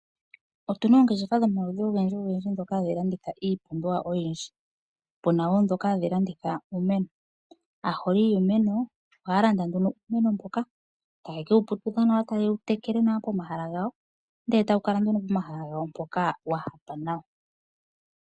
Otuna ongeshefa dhomaludhi ogendji dhika hadhi landitha iipumbiwa oyindji puna woo mbyoka hayi landitha iimeno aaholi yiimeno ohaa landa nduno iimeno mbyoka taye